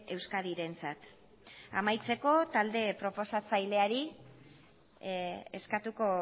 euskadirentzat amaitzeko talde proposatzaileari eskatuko